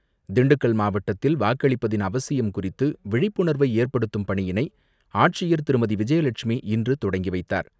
திண்டுக்கல் மாவட்டத்தில் வாக்களிப்பதன் அவசியம் குறித்தவிழிப்புணர்வைஏற்படுத்தும் பணியினைஆட்சியர் திருமதிவிஜயலட்சுமி இன்றுதொடங்கிவைத்தார்.